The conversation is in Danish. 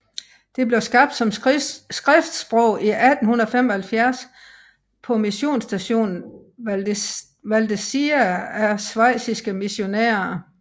Det blev skabt som skriftsprog i 1875 på missionsstationen Valdezia af schweiziske missionærer